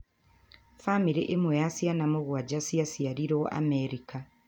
Famĩlĩ ĩmwe ya ciana mũgwanja ciaciarirũo Amerika